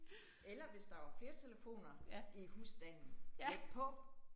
Eller hvis der var flere telefoner i husstanden læg på